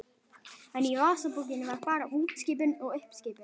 En í vasabókinni var bara útskipun og uppskipun.